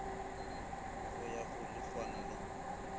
go ya go lehwana le